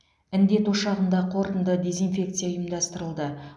індет ошағында қорытынды дезинфекция ұйымдастырылды